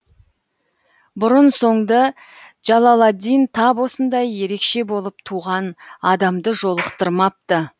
бұрын соңды джалаладдин тап осындай ерекше болып туған адамды жолықтырмапты